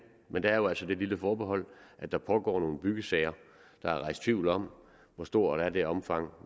men der er jo altså det lille forbehold at der pågår nogle byggesager der er rejst tvivl om hvor stort er det omfang